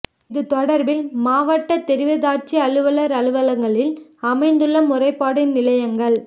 இது தொடர்பில் மாவட்டத் தெரிவத்தாட்சி அலுவலர் அலுவலகங்களில் அமைந்துள்ள முறைப்பாட்டு நிலையங்கள்